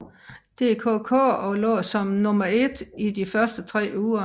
DKK og lå som nummer 1 i de første tre uger